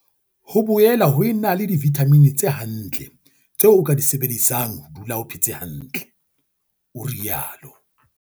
"Ho boela ho ena le divithamini tse hantle tseo o ka di sebedisang ho dula o phetse hantle," o rialo.